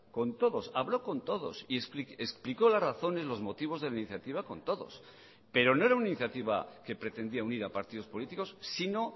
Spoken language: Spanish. con todos habló con todos y explicó las razones los motivos de la iniciativa con todos pero no era una iniciativa que pretendía unir a partidos políticos sino